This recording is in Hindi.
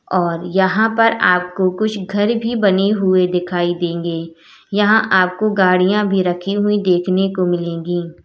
और यहां पर आपको कुछ घर भी बने हुए दिखाई देंगे यहां आपको गाड़ियां भी रखी हुई देखने को मिलेगी।